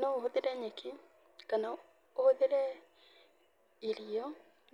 No ũhũthĩre nyeki kana ũhũthĩre irio